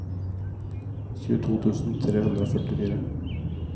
tjueto tusen tre hundre og førtifire